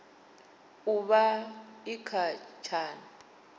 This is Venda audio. u vha i kha tshana